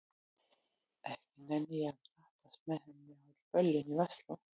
Ekki nenni ég að drattast með henni á öll böllin í Versló.